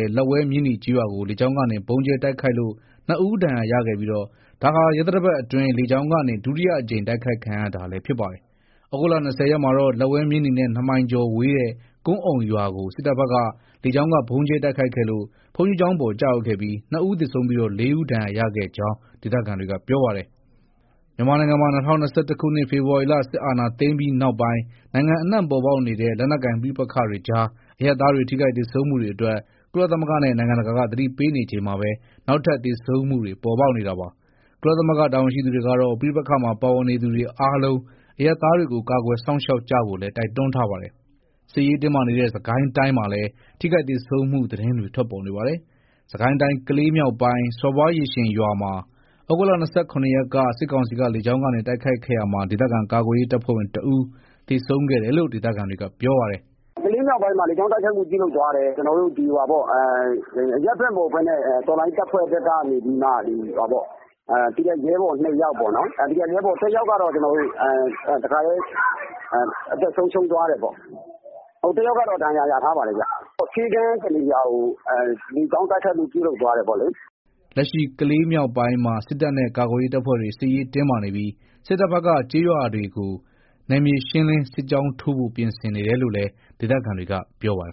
ည်း လက်ဝဲ-မြင်းနီကျေးရွာကို လေကြောင်းကနေ ဗုံးကြဲတိုက်ခိုက်လို့ ၂ ဦး ဒဏ်ရာရခဲ့ပြီးဒါဟာ ရက်သတ္တပတ်အတွင်း လေကြောင်းကနေ ဒုတိယအကြိမ် တိုက်ခိုက်ခံရတာလည်းဖြစ်ပါတယ်။ သြဂုတ် ၂၀ ရက်မှာတော့လက်ဝဲ-မြင်းနီနဲ့ ၂ မိုင်ကျော်ဝေးတဲ့ ကွမ်းအုံရွာကို စစ်တပ်ဘက်က လေကြောင်းကဗုံးကြဲတိုက်ခိုက်ခဲ့လို့ ဘုန်းကြီးကျောင်းပေါ် ကျရောက်ခဲ့ပြီး ၂ ဦးသေဆုံးပြီး ၄ ဦး ဒဏ်ရာရခဲ့ကြောင်း ဒေသခံတွေက ပြောပါတယ်။ မြန်မာနိုင်ငံမှာ ၂၀၂၁ ခုနှစ် ဖေဖော်ဝါရီလ စစ်အာဏာသိမ်းပြီးနောက်ပိုင်း နိုင်ငံအနှံ့ ပေါ်ပေါက်နေတဲ့ လက်နက်ကိုင် ပဋိပက္ခတွေကြား အရပ်သားတွေ ထိခိုက်သေဆုံးမှုတွေအတွက် ကုလသမဂ္ဂနဲ့ နိုင်ငံတကာက သတိပေးနေချိန်မှာပဲ နောက်ထပ် သေဆုံးမှုတွေ ပေါ်ပေါက်နေတာပါ။ ကုလသမဂ္ဂ တာဝန်ရှိသူတွေကတော့ ပဋိပက္ခမှာ ပါဝင်နေသူတွေအားလုံး အရပ်သားတွေကို ကာကွယ်စောင့်ရှောက်ကြဖို့လည်း တိုက်တွန်းထားပါတယ်။ စစ်ရေးတင်းမာနေတဲ့ စစ်ကိုင်းတိုင်းမှာလည်း ထိခိုက်သေဆုံးမှု သတင်းတွေ ထွက်ပေါ်နေပါတယ်။ စစ်ကိုင်းတိုင်း ကလေးမြောက်ပိုင်းက စော်ဘွားရေရှင်ရွာမှာ သြဂုတ် ၂၇ ရက်က စစ်ကောင်စီက လေကြောင်းကနေ တိုက်ခိုက်ခဲ့ရာမှာ ဒေသခံကာကွယ်ရေးတပ်ဖွဲ့ဝင် ၁ ဦးသေဆုံးခဲ့တယ်လို့ ဒေသခံတွေက ပြောပါတယ်။ "ကလေးမြောက်ပိုင်းမှာ လေကြောင်းတိုက်ခိုက်မှု ပြုလုပ်သွားတယ်။ အရပ်ဖက်မဟုတ်ဘဲ တော်လှန်ရေး တပ်ဖွဲ့ဘက်ကနေပြီး ရဲဘော် ၂ ယောက်ပေါ့နော်။ ၁ ယောက်ကတော့ တခါတည်း အသက်ဆုံးရှုံးသွားတယ်ပေါ့။ တယောက်ကတော့ ဒဏ်ရာ ရထားပါတယ်။ ဆေးခန်း တနေရာကို လေကြောင်းတိုက်ခိုက်မှု ပြုလုပ်သွားတယ်ပေါ့လေ။" လက်ရှိကလေးမြောက်ပိုင်းမှာ စစ်တပ်နဲ့ ကာကွယ်ရေး တပ်ဖွဲ့တွေ စစ်ရေးတင်းမာနေပြီး စစ်တပ်ဘက်က ကျေးရွာတွေဘက်ကို နယ်မြေရှင်းလင်း စစ်ကြောင်းထိုးဖို့ ပြင်ဆင်နေတယ်လို့လည်း ဒေသခံတွေက ပြောပါတယ်